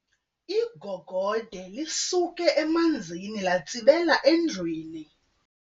Igogode lisuke emanzini latsibela endlwini.